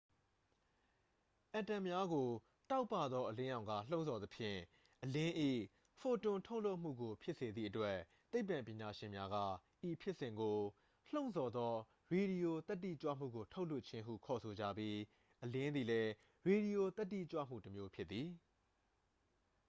"အက်တမ်များကို တောက်ပသော အလင်းရောင်က လှုံ့ဆော်သဖြင့် အလင်း၏ ဖိုတွန်ထုတ်လွှတ်မှုကို ဖြစ်စေသည့်အတွက် သိပ္ပံပညာရှင်များက ဤဖြစ်စဉ်ကို "လှုံ့ဆော်သော ရေဒီယိုသတ္တိကြွမှုကို ထုတ်လွှတ်ခြင်း" ဟု ခေါ်ဆိုကြပြီး အလင်းသည်လည်း ရေဒီယိုသတ္တိကြွမှုတစ်မျိုးဖြစ်သည်။